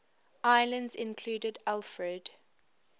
islands included alfred